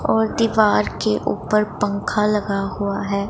और दीवार के ऊपर पंखा लगा हुआ है।